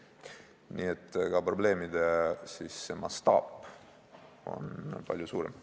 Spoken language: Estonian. Nii et probleemide mastaap on seal palju suurem.